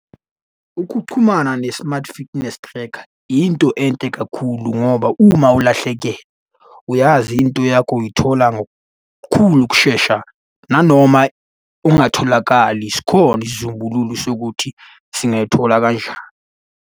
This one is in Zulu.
Ukuchumana ne-smart fitness tracker, yinto enhle kakhulu, ngoba uma ulahlekelwa, uyazi into yakho uyithola ngokukhulu ukushesha nanoma ungatholakali sikhona isizumbulu sokuthi singayithola kanjani.